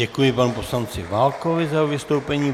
Děkuji panu poslanci Válkovi za jeho vystoupení.